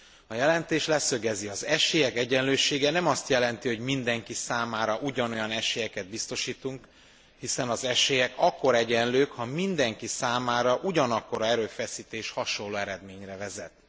A jelentés leszögezi az esélyek egyenlősége nem azt jelenti, hogy mindenki számára ugyanolyan esélyeket biztosítunk, hiszen az esélyek akkor egyenlők, ha mindenki számára ugyanakkora erőfeszítés hasonló eredményre vezet.